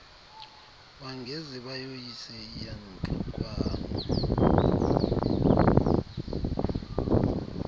bangaze bayoyise iyantlukwano